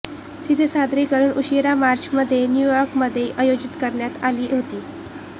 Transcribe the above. तिचे सादरीकरण उशिरा मार्च मध्ये न्यू यॉर्क मध्ये आयोजित करण्यात आली होती